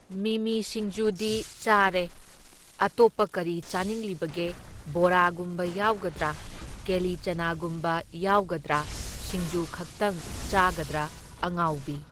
ꯃꯤꯃꯤ ꯁꯤꯡꯖꯨꯗꯤ ꯆꯥꯔꯅ, ꯑꯇꯣꯞꯄ ꯀꯔꯤ ꯆꯥꯅꯤꯡꯂꯤꯕꯒꯦ? ꯕꯣꯔꯥꯒꯨꯝꯕ ꯌꯥꯎꯒꯗ꯭ꯔꯥ, ꯀꯦꯂꯤꯆꯅꯥꯒꯨꯝꯕ ꯌꯥꯎꯒꯗ꯭ꯔꯥ, ꯁꯤꯡꯖꯨ ꯈꯛꯇꯪ ꯆꯥꯒꯗ꯭ꯔꯥ ꯑꯉꯥꯎꯕꯤ꯫